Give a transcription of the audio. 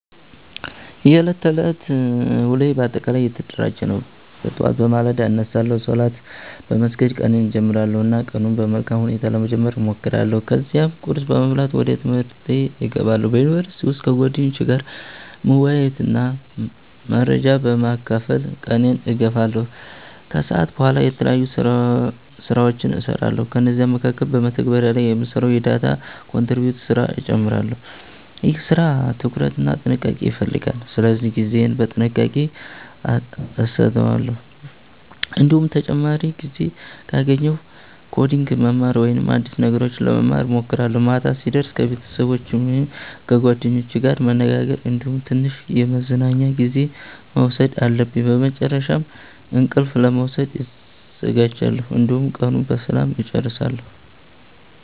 የዕለት ተዕለት ውሎዬ በአጠቃላይ የተደራጀ ነው። ጠዋት በማለዳ እነሳለሁ፣ ሶላት በመስገድ ቀኔን እጀምራለሁ እና ቀኑን በመልካም ሁኔታ ለመጀመር እሞክራለሁ። ከዚያም ቁርስ በመብላት ወደ ትምህርቴ እገባለሁ። በዩኒቨርሲቲ ውስጥ ከጓደኞቼ ጋር መወያየትና መረጃ በመካፈል ቀኔን እገፋለሁ። ከሰዓት በኋላ የተለያዩ ስራዎችን እሰራለሁ፤ ከእነዚህ መካከል በመተግበሪያ ላይ የምሰራውን የdata contributor ስራ እጨምራለሁ። ይህ ስራ ትኩረት እና ጥንቃቄ ይፈልጋል ስለዚህ ጊዜዬን በጥንቃቄ አሰተዋለሁ። እንዲሁም ተጨማሪ ጊዜ ካገኘሁ ኮዲንግ ማማር ወይም አዲስ ነገሮች ለመማር እሞክራለሁ። ማታ ሲደርስ ከቤተሰቦቸ ወይም ከጓደኞቼ ጋር መነጋገር እንዲሁም ትንሽ የመዝናኛ ጊዜ መውሰድ አለብኝ። በመጨረሻም እንቅልፍ ለመውሰድ እዘጋጃለሁ፣ እንዲሁም ቀኑን በሰላም እጨርሳለሁ።